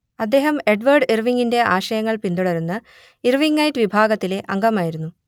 അദ്ദേഹം ഏഡ്‌വേർഡ് ഇർവിങ്ങിന്റെ ആശയങ്ങൾ പിന്തുടരുന്ന ഇർവിങ്ങൈറ്റ് വിഭാഗത്തിലെ അംഗമായിരുന്നു